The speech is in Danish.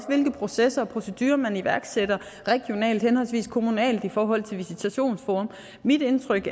hvilke processer og procedurer man iværksætter regionalt henholdsvis kommunalt i forhold til visitationsforum mit indtryk